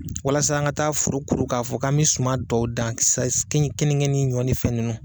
Walasa an ka taa foro kuru k'a fɔ k'an me suma dɔw dan kenige ni ɲɔ ni fɛn ninnu.